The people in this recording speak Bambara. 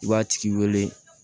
I b'a tigi wele